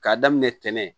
K'a daminɛ ntɛnɛn